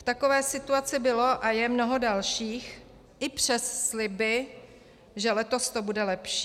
V takové situaci bylo a je mnoho dalších, i přes sliby, že letos to bude lepší.